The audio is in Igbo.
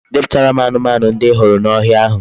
Depụtara m anụmanụ ndi I hụrụ n'ohia ahụ